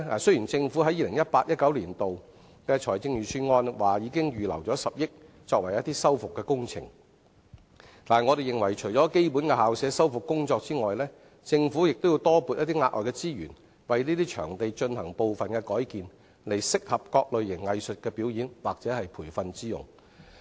雖然政府在 2018-2019 年度財政預算案已預留10億元作修復工程，但我認為除了基本的校舍修復工作外，政府亦要多撥額外資源為這些場地進行部分改建，以適合各類型藝術的表演或培訓之用。